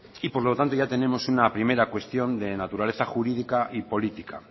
y por lo tanto ya tenemos una primera cuestión de naturaleza jurídica y política